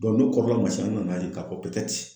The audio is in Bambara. n'o kɔfɛla kun man n nan'a ye k'a fɔ